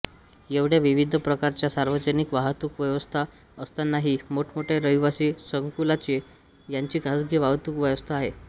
येवढ्या विविध प्रकारच्या सार्वजनिक वाहतूक व्यवस्था असतानाही मोठमोठ्या रहिवासी संकुलांची यांची खासगी वाहतूक व्यवस्था आहे